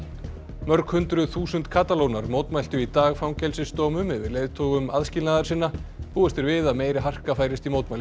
mörg hundruð þúsund mótmæltu í dag fangelsisdómum yfir leiðtogum aðskilnaðarsinna búist er við að meiri harka færist í mótmælin í